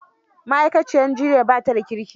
Ma'aikaciyar jiyyar ba da kirki